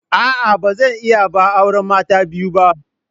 A'a, ba zan iya ba auren mata biyu ba.